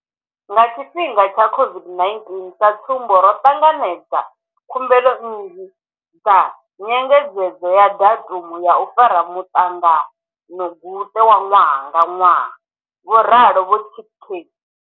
Nga tshifhinga tsha COVID-19, sa tsumbo, ro ṱanganedza khumbelo nnzhi dza nyengedzedzo ya datumu ya u fara muṱanganoguṱe wa ṅwaha nga ṅwaha, vho ralo vho Chicktay.